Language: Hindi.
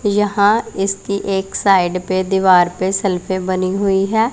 यहां इसकी एक साइड पे दीवार पे शेल्फे बनी हुई हैं।